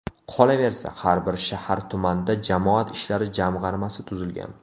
Qolaversa, har bir shahar, tumanda jamoat ishlari jamg‘armasi tuzilgan.